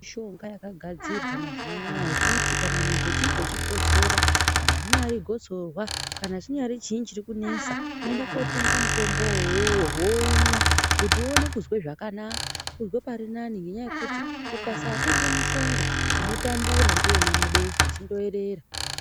Mishonga yakagadzirwa mazuva ano aya yekuti kana munhu unhinge uchikosora kana ringave gosorwa kana chinyare chii chirikunetsa unoenda kunotenga mutombo uyu omwa kuti uone kunzwa zvakanaka, unzwe parinani nenyaya yekuti ukasatenge mushonga unotambura ndiwe unamabesha chindoerera.